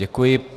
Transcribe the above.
Děkuji.